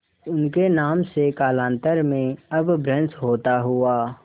उनके नाम से कालांतर में अपभ्रंश होता हुआ